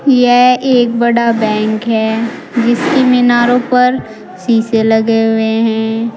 यह एक बड़ा बैंक है जिसकी मिनारो पर शीशे लगे हुए हैं।